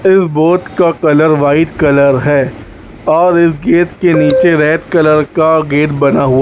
इस बोट का colour white colour है और इस गेट के नीचे रेड कलर का गेट बना हुआ --